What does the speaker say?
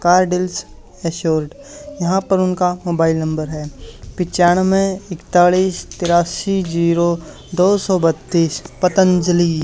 कार्डिलस assured यहां पर उनका मोबाइल नंबर है पिचानवें इकतालीस तिराशी जीरो दो सौ बत्तीश पतंजलि।